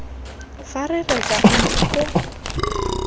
fa re reka ntlo koo